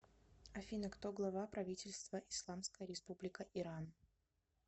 афина кто глава правительства исламская республика иран